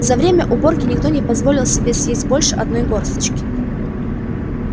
за время уборки никто не позволил себе съесть больше одной горсточки